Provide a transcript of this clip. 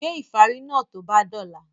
Gbé ìfárí náà tó bá dọ̀la!